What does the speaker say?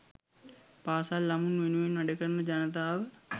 පාසල් ළමුන් වෙනුවෙන් වැඩ කරන ජනතාව